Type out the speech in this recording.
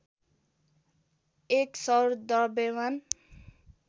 ०१ सौर द्रव्यमान